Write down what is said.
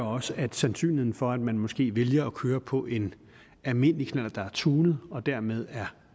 også at sandsynligheden for at man måske vælger at køre på en almindelig knallert der er tunet og dermed er